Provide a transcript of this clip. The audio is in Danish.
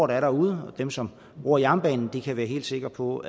der er derude og dem som bruger jernbanen kan være helt sikre på